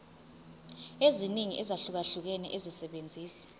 eziningi ezahlukahlukene esebenzisa